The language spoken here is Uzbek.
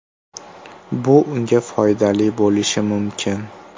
Bu unga foydali bo‘lishi mumkin.